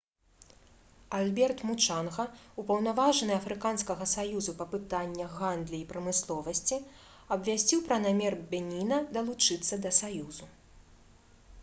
альберт мучанга упаўнаважаны афрыканскага саюзу па пытаннях гандлі і прамысловасці абвясціў пра намер беніна далучыцца да саюзу